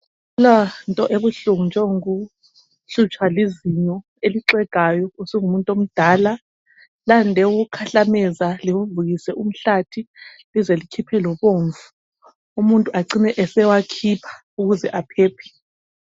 Akulanto ebuhlungu njengokuhlutshwa lizinyo elixegayo usungumuntu omdala, lande ukukhahlameza livuvukise umhlathi lize likhiphe lobomvu umuntu acine esewakhipha ukuze aphephe.